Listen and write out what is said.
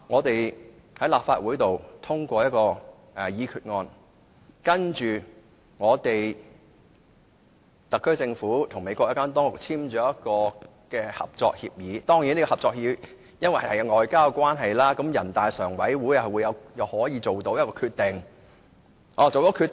首先，立法會通過一項決議案，然後由特區政府和美國有關當局簽訂合作協議，由於合作協議屬於外交事務，人大常委會可以作出決定。